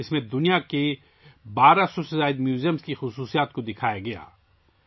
اس میں دنیا کے 1200 سے زیادہ عجائب گھروں کی خصوصیات کو دکھایا گیا تھا